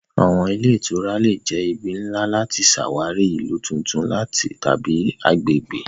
Awọn ile itura le jẹ ibi nla lati ṣawari ilu tuntun tabi agbegbe.